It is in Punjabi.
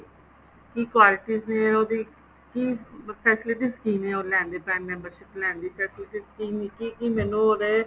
ਕੀ qualities ਨੇ ਉਹਦੀ ਕੀ facilities ਕੀ ਨੇ ਉਹ ਲੈਣ ਦੇ prime membership ਲੈਣ ਦੇ ਜਿਸ ਤਰ੍ਹਾਂ ਮੈਨੂੰ scheme ਵਿੱਚ ਕੀ ਕੀ ਮੈਨੂੰ ਉਹਦੇ